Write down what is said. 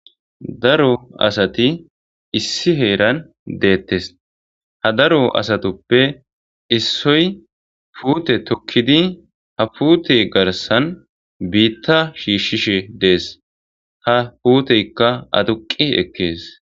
daro asati issi heeran deettes ha daro asatuppe issoy puute tokkidi ha puute garsan biitta shiishshishe dees ta puuteykka aduqi ekkees